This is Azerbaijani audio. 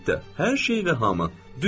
Əlbəttə, hər şey və hamı.